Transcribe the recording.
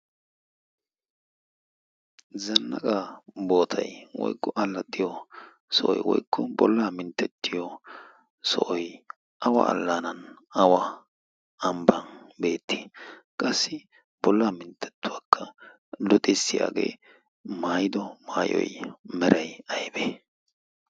zannaqa bootai woykku allaxxiyo sohoy woykku bollaa minttettiyo sohoy awa allaanan awa ambba beetti qassi bollaa minttettuwaakka luxissiyaagee maayido maayoy meray aybee